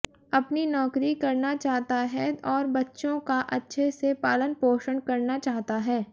अपनी नौकरी करना चाहता है और बच्चों का अच्छे से पालन पोषण करना चाहता है